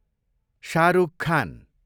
Shahrukh Khan